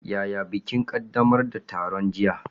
Yaya bikin ƙaddamar da taron jiya?